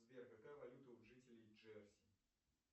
сбер какая валюта у жителей джерси